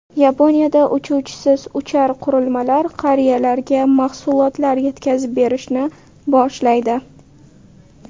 Yaponiyada uchuvchisiz uchar qurilmalar qariyalarga mahsulotlar yetkazib berishni boshlaydi.